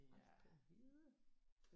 Aldrig vide